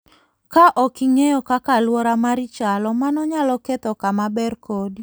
Ka ok ing'eyo kaka alwora mari chalo, mano nyalo ketho kama ber kodi.